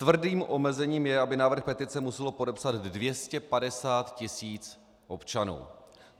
Tvrdým omezením je, aby návrh petice muselo podepsat 250 tisíc občanů.